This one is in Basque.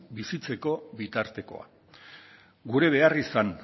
bizitzeko bitartekoa gure behar izan